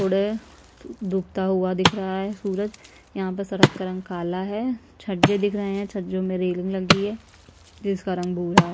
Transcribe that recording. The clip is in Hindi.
थोड़े डूबता हुआ दिख रहा है सूरज यहाँ पे सड़क का रंग काला है छज्जे दिख रहे है छज्जों में रेलिंग लगी है जिसका रंग भूरा है।